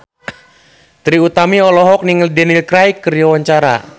Trie Utami olohok ningali Daniel Craig keur diwawancara